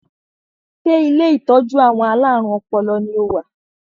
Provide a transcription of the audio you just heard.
Ṣé ilé ìtọ́jú àwọn alárùn ọpọlọ ni o wà?